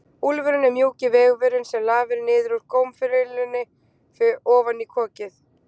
Úfurinn er mjúki vefurinn sem lafir niður úr gómfillunni ofan í kokið.